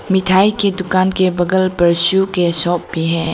मिठाई की दुकान के बगल पर शू के शॉप पर है।